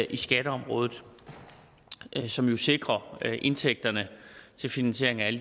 i skatteområdet som jo sikrer indtægterne til finansieringen af